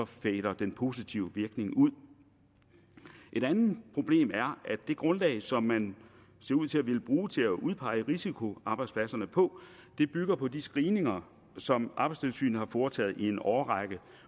fader den positive virkning ud et andet problem er at det grundlag som man ser ud til at ville bruge til at udpege risikoarbejdspladserne på bygger på de screeninger som arbejdstilsynet har foretaget i en årrække